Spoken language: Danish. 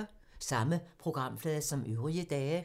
Samme programflade som øvrige dage